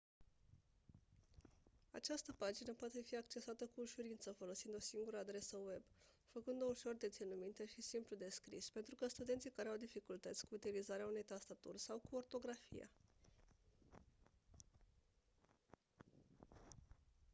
această pagină poate fi accesată cu ușurință folosind o singură adresă web făcând-o ușor de ținut minte și simplu de scris pentru studenții care au dificultăți cu utilizarea unei tastaturi sau cu ortografia